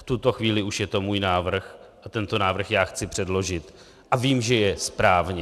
V tuto chvíli už je to můj návrh a tento návrh já chci předložit a vím, že je správně.